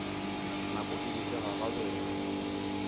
nako e be e gagabela